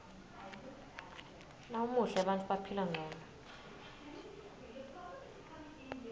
nawumuhle bantfu baphila ngcono